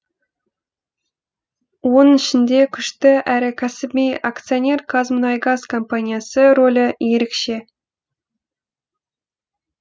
оның ішінде күшті әрі кәсіби акционер қазмұнайгаз компаниясы рөлі ерекше